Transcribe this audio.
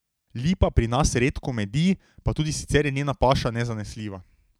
Lipa pri nas redko medi, pa tudi sicer je njena paša nezanesljiva.